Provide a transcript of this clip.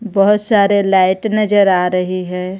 बहुत सारे लाइट नजर आ रही है.